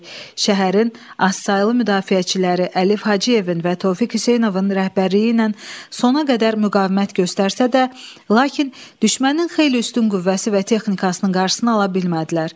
Şəhərin azsaylı müdafiəçiləri Əlif Hacıyevin və Tofiq Hüseynovun rəhbərliyi ilə sona qədər müqavimət göstərsə də, lakin düşmənin xeyli üstün qüvvəsi və texnikasının qarşısını ala bilmədilər.